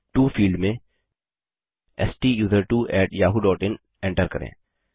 to field में STUSERTWOyahoo इन enter करें